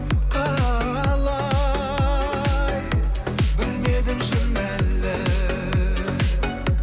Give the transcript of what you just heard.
қалай білмедім шын әлі